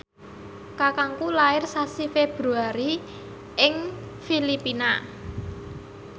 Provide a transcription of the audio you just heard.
kakangku lair sasi Februari ing Filipina